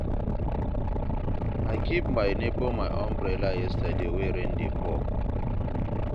I give my nebor my umbrella yesterday wey rain dey fall.